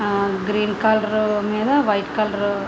ఆ green colour మీద white colour --